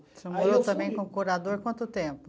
Você morou também com curador quanto tempo?